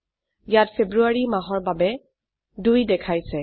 ইয়াত ফেব্ৰুয়াৰী মাহৰ বাবে ২ দেখাইছে